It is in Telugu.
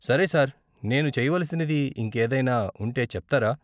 సరే సార్, నేను చేయవలసినది ఇంకేదైనా ఉంటే చెప్తారా?